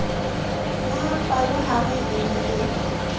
ya palohare e ne e